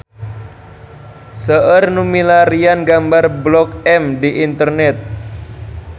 Seueur nu milarian gambar Blok M di internet